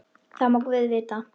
Það má guð vita.